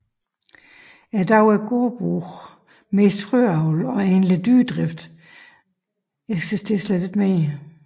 I dag er gårdbrug mest frøavl og egentlig dyredrift eksisterer ikke mere